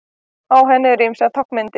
Á henni eru ýmsar táknmyndir.